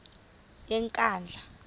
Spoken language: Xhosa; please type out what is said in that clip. yenkandla